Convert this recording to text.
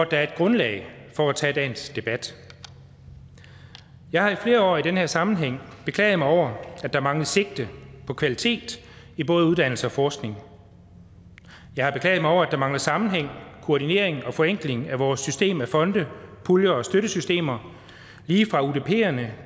der er et grundlag for at tage dagens debat jeg har i flere år i den her sammenhæng beklaget mig over at der manglede sigte på kvalitet i både uddannelse og forskning jeg har beklaget mig over at der manglede sammenhæng koordineringen og forenkling af vores system af fonde puljer og støttesystemer lige fra udperne